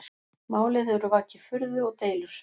Málið hefur vakið furðu og deilur